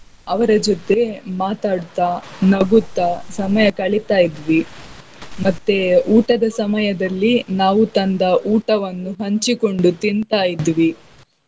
ಅವರ ಜೊತೆ ಮಾತಾಡ್ತಾ, ನಗುತ್ತಾ ಸಮಯ ಕಳಿತಾಯಿದ್ವಿ ಮತ್ತೆ ಊಟದ ಸಮಯದಲ್ಲಿ ನಾವು ತಂದ ಊಟವನ್ನು ಹಂಚಿಕೊಂಡು ತಿಂತಾ ಇದ್ವಿ.